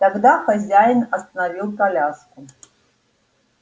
тогда хозяин остановил коляску